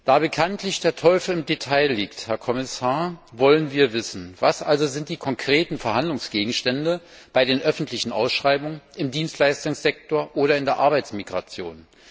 Da bekanntlich der Teufel im Detail liegt, Herr Kommissar, wollen wir Folgendes wissen Was sind die konkreten Verhandlungsgegenstände bei den öffentlichen Ausschreibungen im Dienstleistungssektor oder im Zusammenhang mit der Arbeitsmigration?